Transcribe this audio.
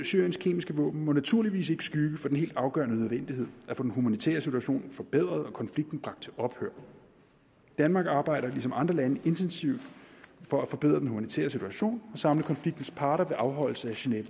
syriens kemiske våben må naturligvis ikke skygge for den helt afgørende nødvendighed at få den humanitære situation forbedret og konflikten bragt til ophør danmark arbejder ligesom andre lande intensivt for at forbedre den humanitære situation og samle konfliktens parter ved afholdelse af geneve